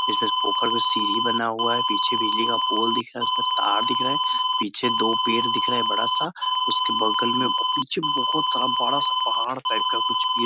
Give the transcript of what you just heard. इसमें पोखर में सीढ़ी बना हुआ है पीछे बिजली का पॉल देख रहा है तार दिख रहा है पीछे दो पेड़ दिख रहा है बड़ा सा उसके बगल में और पीछे बहुत सारा पहाड़ टाइप का और पीछे पेड़ --